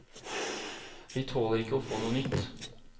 Vi tåler ikke å få noe nytt.